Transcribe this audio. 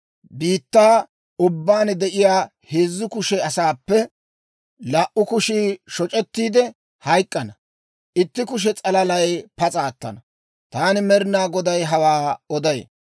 Biittaa ubbaan de'iyaa heezzu kushe asaappe laa"u kushii shoc'ettiide hayk'k'ana; itti kushe s'alalay pas'a attana. Taani Med'inaa Goday hawaa oday.